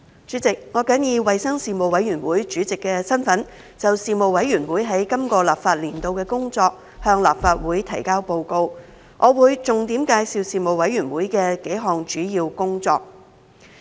主席，我謹以衞生事務委員會主席的身份，就事務委員會在今個立法年度的工作，向立法會提交報告。我會重點介紹事務委員會的數項主要工作。